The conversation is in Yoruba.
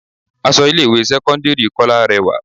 Aṣọ ilé ìwé sẹ́kọ́ńdírì Kọ́lá rẹwà.